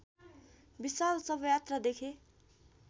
विशाल शवयात्रा देखे